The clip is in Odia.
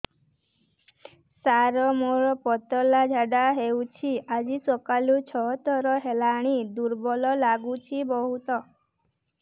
ସାର ମୋର ପତଳା ଝାଡା ହେଉଛି ଆଜି ସକାଳୁ ଛଅ ଥର ହେଲାଣି ଦୁର୍ବଳ ଲାଗୁଚି ବହୁତ